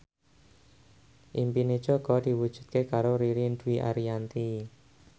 impine Jaka diwujudke karo Ririn Dwi Ariyanti